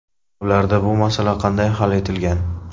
Ularda bu masala qanday hal etilgan?